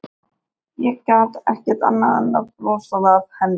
Ég gat ekki annað en brosað að henni.